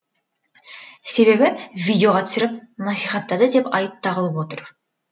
себебі видеоға түсіріп насихаттады деп айып тағылып отыр